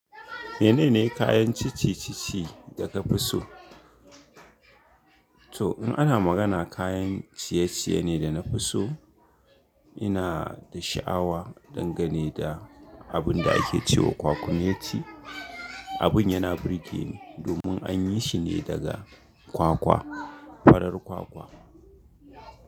Menene kayan cici-cici daka fiso? To in ana magana kayan ciye-ciye ne da na faso, ina da sha'awa dangane da abin da ake cewa kwakumeti ce. Abin yana burge ni domin an yi shi ne daga kwakwa, farar kwakwa.